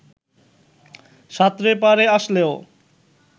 সাঁতরে পাড়ে আসলেও